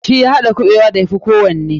Shi ya haɗa kuɓewa da ya fi kowanne.